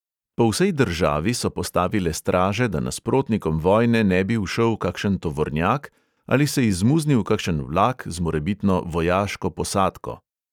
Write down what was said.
Po vsej državi so postavile straže, da nasprotnikom vojne ne bi ušel kakšen tovornjak ali se izmuznil kakšen vlak z morebitno vojaško posadko.